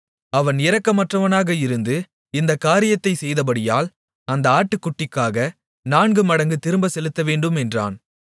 அவன் இரக்கமற்றவனாக இருந்து இந்தக் காரியத்தைச் செய்தபடியால் அந்த ஆட்டுக்குட்டிக்காக நான்கு மடங்கு திரும்பச் செலுத்தவேண்டும் என்றான்